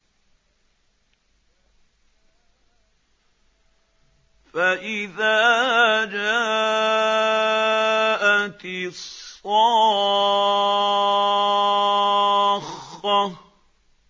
فَإِذَا جَاءَتِ الصَّاخَّةُ